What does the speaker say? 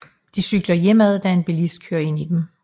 De cykler hjemad da en billist kører ind i dem